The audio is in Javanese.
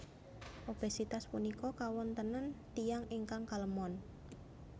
Obesitas punika kawontenan tiyang ingkang kalemon